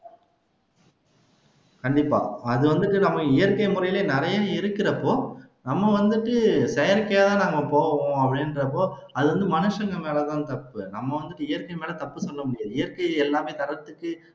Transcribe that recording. கண்டிப்பா அது வந்துட்டு நம்ம இயற்கை முறைலயே நிறைய இருக்கிறப்போ நம்ம வந்துட்டு செயற்கையாதான் நாம போவமோ அப்படின்றப்போ அது வந்து மனுசங்க மேலதான் தப்பு நம்ம வந்துட்டு இயற்கை மேல தப்புன்னு சொல்ல முடியாது இயற்கை எல்லாமே தன்னை சுத்தி